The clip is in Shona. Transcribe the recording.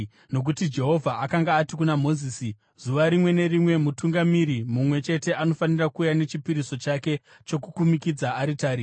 Nokuti Jehovha akanga ati kuna Mozisi, “Zuva rimwe nerimwe, mutungamiri mumwe chete anofanira kuuya nechipiriso chake chokukumikidza aritari.”